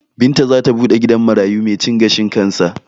Binta zata buɗe gidan marayu mai cin gashin kansa